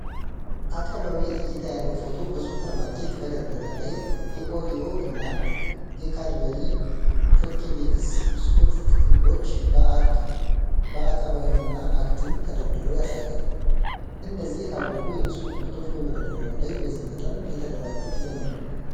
አቀባዊ እይታ ያለው ፎቶ በሱፐርማርኬት መደርደሪያ ላይ የኦሪዮ እና የካድበሪ ቾኮቤክስ ብስኩት ጥቅሎች በአቀባዊ እና አግድም ተደርድረው ያሳያል፤ እነዚህ የታወቁ የብስኩት ምርቶች በመደርደሪያው ላይ በዚህ መጠን የተደራጁት ለምን ይሆን?